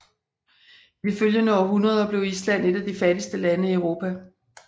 I de følgende århundreder blev Island et af de fattigste lande i Europa